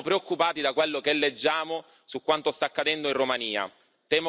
Siamo preoccupati da quello che leggiamo su quanto sta accadendo in Romania.